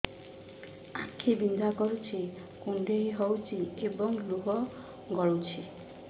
ଆଖି ବିନ୍ଧା କରୁଛି କୁଣ୍ଡେଇ ହେଉଛି ଏବଂ ଲୁହ ଗଳୁଛି